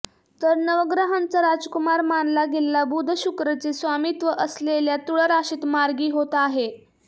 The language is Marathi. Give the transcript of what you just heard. तर नवग्रहांचा राजकुमार मानला गेलेला बुध शुक्रचे स्वामीत्व असलेल्या तुळ राशीत मार्गी होत आहे